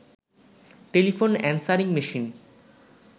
telephone answering machine